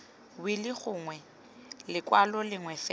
wili gongwe lekwalo lengwe fela